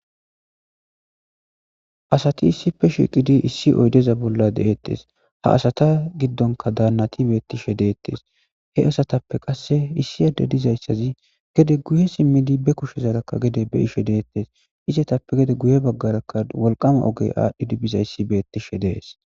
asati issife shiqidi issi oydeza bolla deettes ha asata giddonka daannati beettishe deettes he asatappe qasse issi adde dizayssazi gede guye simmidi be kushezaraka gede be ishe deettes isetappe gede guye baggaraka wolqama ogey aadhdhidi bizayssi beettishe dees